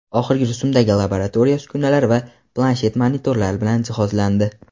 oxirgi rusumdagi laboratoriya uskunalar va planshet monitorlar bilan jihozlandi.